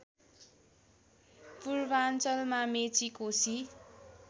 पूर्वाञ्चलमा Mechi Koshi